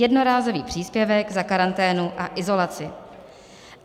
Jednorázový příspěvek za karanténu a izolaci.